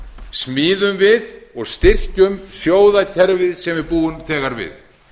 smíðum við og styrkjum sjóðakerfið sem við búum þegar við